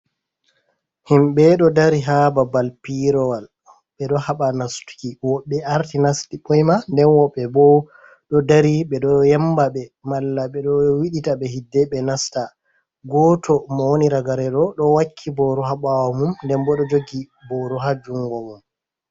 Himɓe do dari ha babal piyirowal be do haɓa nastuki woɓɓe arti nasti buyma nden woɓɓe bo do dari be do yemba ɓe mala ɓe do wiɗita be hidde be nasta goto mo woni ragaredo do wakki boru habawo mum nden bodo jogi boru ha jungo mum.